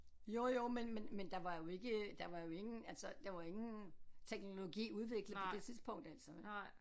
Jo jo men men men der var ikke der var jo ingen altså der var ingen teknologi udviklet på det tidspunkt altså